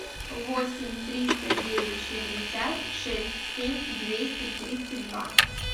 восемь триста девять шестьдесят шесть семь двести тридцать два